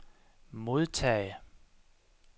modtage